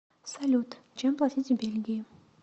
салют чем платить в бельгии